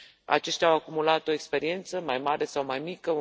Aceștia au acumulat o experiență, mai mare sau mai mică